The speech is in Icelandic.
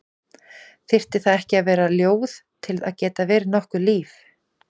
Þyrfti það ekki að vera ljóð til að geta verið nokkurt líf?